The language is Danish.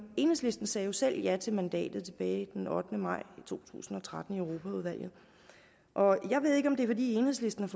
enhedslisten sagde jo selv ja til mandatet tilbage den ottende maj to tusind og tretten i europaudvalget og jeg ved ikke om det er fordi enhedslisten